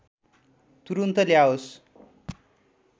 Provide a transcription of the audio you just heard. तुरुन्त ल्याओस्